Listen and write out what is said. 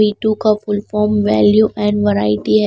V2 का full form value and variety है।